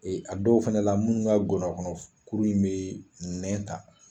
a dɔw fana la minnu ka ngɔnɔnkɔnɔ kuru in bɛ nɛn ta